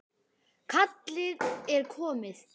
Kallið er komið.